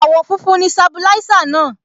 Àwọ̀ funfun ni Sabilisa náà.